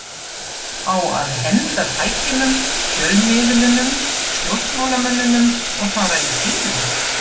Á að henda tækjunum, fjölmiðlunum, stjórnmálamönnunum og fara í fýlu?